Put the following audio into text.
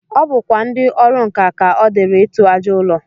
O bukwa ndị ọrụ nkà ka ọ dịịrị ịtụ àjà ụlọ